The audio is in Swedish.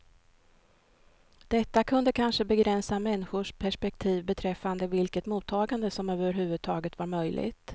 Detta kunde kanske begränsa människors perspektiv beträffande vilket mottagande som överhuvudtaget var möjligt.